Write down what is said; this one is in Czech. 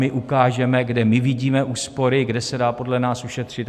My ukážeme, kde my vidíme úspory, kde se dá podle nás ušetřit.